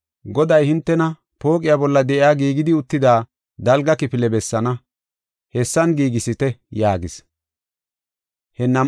Goday hintena pooqiya bolla de7iya giigidi uttida dalga kifile bessaana; hessan giigisite” yaagis. Ayhude Keetha Kaara